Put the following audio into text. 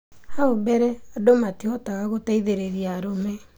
Hau mbere andũ matibotaga kuteithĩrĩria arume.